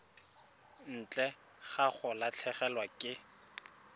ntle ga go latlhegelwa ke